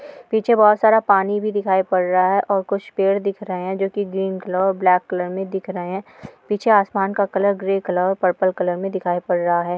पीछे बहुत सारा पानी भी दिखाई पर रहा हैं और कुछ पेड़ दिख रहे हैं की जो ग्रीन कलर ब्लैक कलर में दिख रहे हैं पीछे आसमान का कलर ग्रे कलर और पर्पल कलर में दिखाई पड़ रहा हैं।